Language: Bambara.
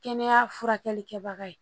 Kɛnɛya furakɛli kɛbaga ye